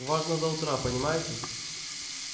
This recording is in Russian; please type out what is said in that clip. важно до утра понимаете